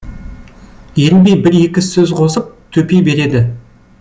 ерінбей бір екі сөз қосып төпей береді